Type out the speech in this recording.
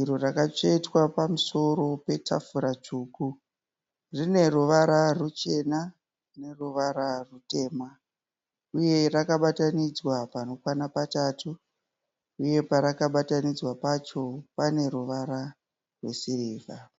iro rakatsvetwa pamusoro petafura tsvuku, rine ruvara ruchena neruvara rutema uye rwakabatanidzwa panokwana patatatu, uye parakabatanidzwa pacho pane ruvara rwesirivha.